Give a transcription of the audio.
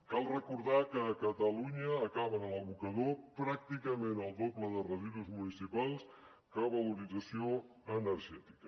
cal recordar que a catalunya acaben a l’abocador pràcticament el doble de residus municipals que a valorització energètica